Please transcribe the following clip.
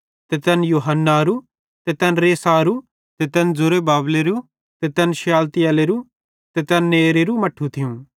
ते तैन यूहन्नारू ते तैन रेसारू ते तै जरुब्बाबेलेरू ते तैन शालतियेलेरू ते तैन नेरेरू मट्ठू थियूं